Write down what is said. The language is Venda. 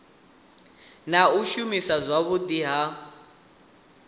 na u shumiswa zwavhudi ha